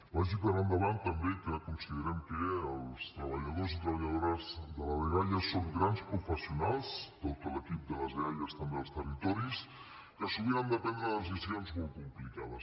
vagi per endavant també que considerem que els treballadors i treballadores de la dgaia són grans professionals tot l’equip de les eaia també als territoris que sovint han de prendre decisions molt complicades